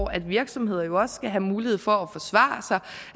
at virksomheder jo også skal have mulighed for